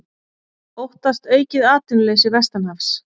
Óttast aukið atvinnuleysi vestanhafs